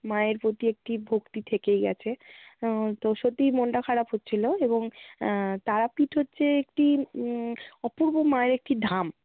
মায়ের প্রতি একটি ভক্তি থেকেই গেছে। আহ তো সত্যিই মনটা খারাপ হচ্ছিলো, এবং আহ তারাপীঠ হচ্ছে একটি উম অপূর্ব মায়ের একটি ধাম।